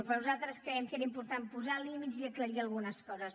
però nosaltres creiem que era important posar límits i aclarir algunes coses